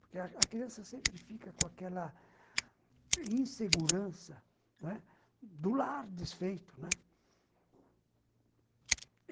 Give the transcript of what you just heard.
Porque a a criança sempre fica com aquela insegurança, né, do lar desfeito, né